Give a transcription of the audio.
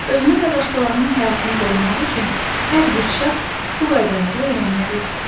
Özünü və başqalarının həyatını qorumaq üçün hər bir şəxs bu qaydaları öyrənməlidir.